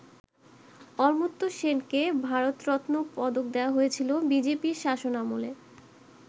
অমর্ত্য সেনকে ‘ভারত রত্ন’ পদক দেয়া হয় বিজেপির শাসনামলে।